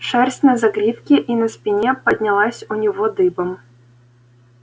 шерсть на загривке и на спине поднялась у него дыбом